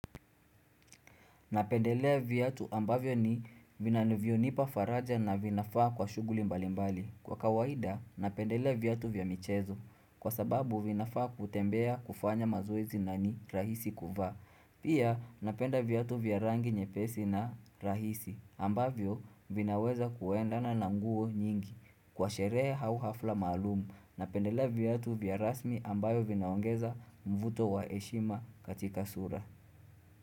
Napendelea viatu ambavyo ni vinavyo nipa faraja na vinafaa kwa shughuli mbali mbali. Kwa kawaida, napendelea viatu vya michezo kwa sababu vinafaa kutembea kufanya mazoezi na ni rahisi kuvaa. Pia, napenda viatu vya rangi nyepesi na rahisi ambavyo vinaweza kuendana na nguo nyingi kwa sherehee au hafla maalumu. Napendelea viatu vya rasmi ambayo vinaongeza mvuto wa heshima katika sura.